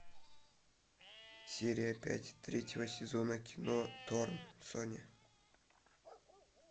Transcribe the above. серия пять третьего сезона кино торн соня